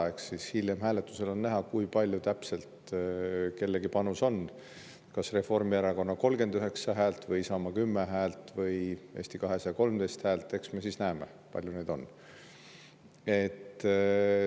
Eks siis hiljem hääletusel on näha, kui palju täpselt kellegi panus on: kas Reformierakonna 39 häält või Isamaa 10 häält või Eesti 200 13 häält – eks me siis näeme, kui palju neid on.